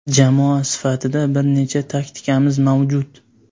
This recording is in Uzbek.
Jamoa sifatida bir nechta taktikamiz mavjud.